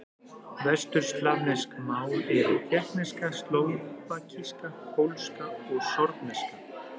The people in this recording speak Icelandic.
Vesturslavnesk mál eru: tékkneska, slóvakíska, pólska, sorbneska.